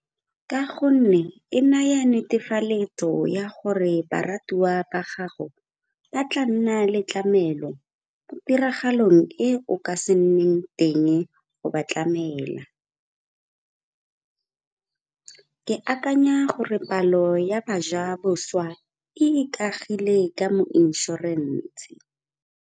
Ka gonne e naya netefaletso ya gore baratiwa ba gago ba tla nna le tlamelo mo tiragalong e o ka se nneng teng go ba tlamela. Ke akanya gore palo ya bajaboswa e ikagile ka mo inšorense.